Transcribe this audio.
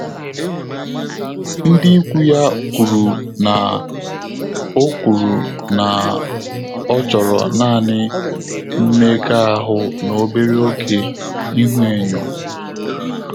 Ndị́ íkwú yá kwùrù nà ọ́ kwùrù nà ọ́ chọ́rọ̀ nāànị́ mméga áhụ́ nà óbèré ògé íhúényó.